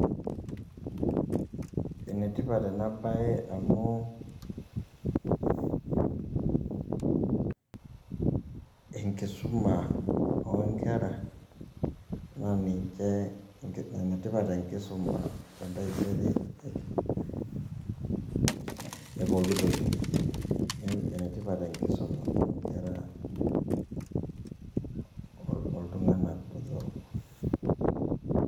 Enetipat ena baye amu enkisoma oonkera[paused] naa enetipat enkisoma tentaisere enye neeku ene tipat enkisoma too nkera ootoo iltung'anak botorok.